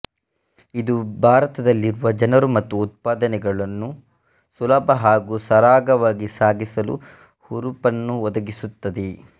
ಇದು ಭಾರತದಲ್ಲಿರುವ ಜನರು ಮತ್ತು ಉತ್ಪಾದನೆಗಳನ್ನು ಸುಲಭ ಹಾಗೂ ಸರಾಗವಾಗಿ ಸಾಗಿಸಲು ಹುರುಪನ್ನು ಒದಗಿಸುತ್ತದೆ